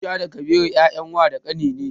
Aisha da Kabiru 'ya'yan wa da ƙani ne.